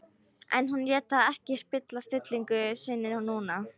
En hún lét það ekki spilla stillingu sinni núna.